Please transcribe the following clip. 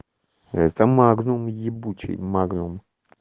это магнум ебучей магнум